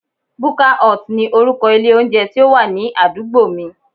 Buka hut ni orúkọ ilé oúnjẹ tí ó wà ní àdúgbò mi